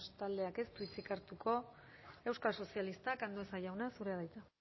taldeak ez du hitzik hartuko euskal sozialistak andueza jauna zurea da hitza